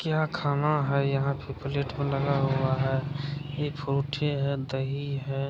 क्या खाना है यहाँ पे प्लेट मे लगा हुआ है | ये फ्रूटी है दही है ।